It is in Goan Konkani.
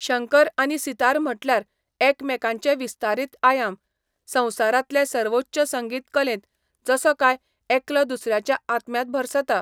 शंकर आनी सितार म्हटल्यार एकामेकांचे विस्तारीत आयाम, संवसारांतले सर्वोच्च संगीत कलेंत जसो काय एकलो दुसऱ्याच्या आत्म्यांत भरसता.